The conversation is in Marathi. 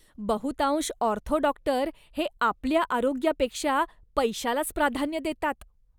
बहुतांश ऑर्थो डॉक्टर हे आपल्या आरोग्यापेक्षा पैशालाच प्राधान्य देतात.